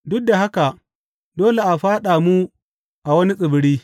Duk da haka, dole a fyaɗa mu a wani tsibiri.